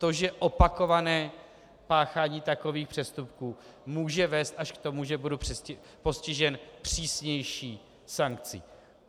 To, že opakované páchání takových přestupků může vést až k tomu, že budu postižen přísnější sankcí.